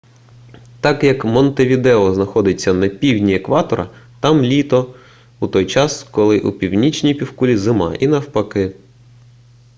так як монтевідео знаходиться на півдні екватора там літо у той час коли у північній півкулі зима і навпаки